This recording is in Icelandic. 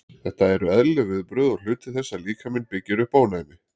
Þetta eru eðlileg viðbrögð og hluti þess að líkaminn byggir upp ónæmi.